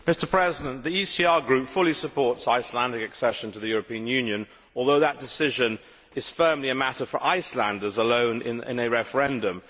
Mr President, the ECR Group fully supports Icelandic accession to the European Union, although the decision is firmly a matter for Icelanders alone in a referendum.